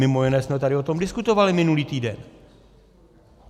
Mimo jiné jsme tady o tom diskutovali minulý týden.